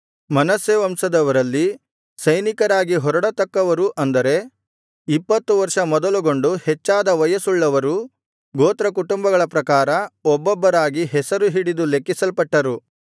ಮನಸ್ಸೆ ವಂಶದವರಲ್ಲಿ ಸೈನಿಕರಾಗಿ ಹೊರಡತಕ್ಕವರು ಅಂದರೆ ಇಪ್ಪತ್ತು ವರ್ಷ ಮೊದಲುಗೊಂಡು ಹೆಚ್ಚಾದ ವಯಸ್ಸುಳ್ಳವರು ಗೋತ್ರಕುಟುಂಬಗಳ ಪ್ರಕಾರ ಒಬ್ಬೊಬ್ಬರಾಗಿ ಹೆಸರು ಹಿಡಿದು ಲೆಕ್ಕಿಸಲ್ಪಟ್ಟರು